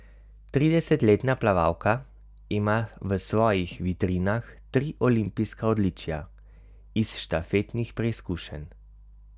Tridesetletna plavalka ima v svojih vitrinah tri olimpijska odličja iz štafetnih preizkušenj.